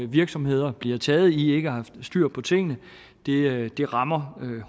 virksomheder bliver taget i ikke at have styr på tingene det det rammer